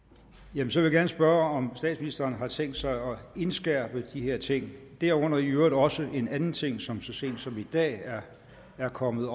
jamen så vil jeg gerne spørge om statsministeren har tænkt sig at indskærpe de her ting derunder i øvrigt også en anden ting som så sent som i dag er kommet